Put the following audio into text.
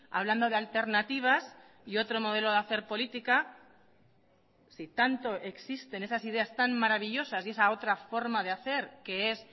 hablando de alternativas y otro modelo de hacer política si tanto existen esas ideas tan maravillosas y esa otra forma de hacer que es